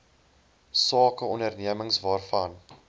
sake ondernemings waarvan